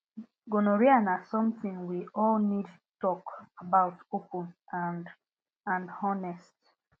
gonorrhea na something we all need talk about open and and honest